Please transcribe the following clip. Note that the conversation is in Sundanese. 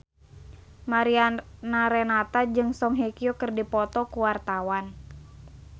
Mariana Renata jeung Song Hye Kyo keur dipoto ku wartawan